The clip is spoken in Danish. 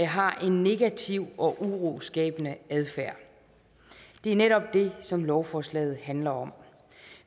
har en negativ og uroskabende adfærd det er netop det som lovforslaget handler om